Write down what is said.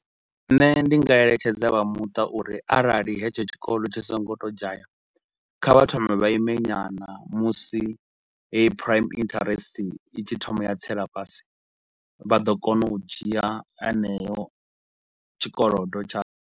Nṋe ndi nga eletshedza vha muṱa uri arali hetsho tshikolo tshi so ngo tou dzhaya kha vha thome vha ime nyana musi heyi prime interest itshi thoma ya tsela fhasi vha ḓo kona u dzhia heneyo tshikolodo tsha.